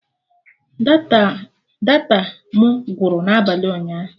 Data my gwụrụ n'abalị ụnyaahụ